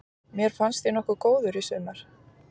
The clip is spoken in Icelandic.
Mér fannst ég nokkuð góður í sumar.